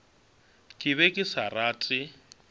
ke be ke sa rate